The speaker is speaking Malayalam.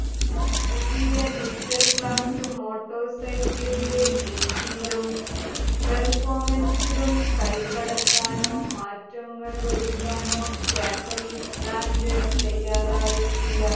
പുതിയ ലിറ്റർ ക്ലാസ് മോട്ടോർസൈക്കിളിന്റെ എഞ്ചിനിലും പെർഫോമൻസിലും കൈകടത്താനോ മാറ്റങ്ങൾ വരുത്താനോ ജാപ്പനീസ് ബ്രാൻഡ് തയാറായിട്ടില്ല